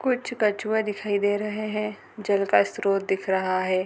कुछ कछुवे दिखाई दे रहे है जल का स्त्रोत दिख रहा है।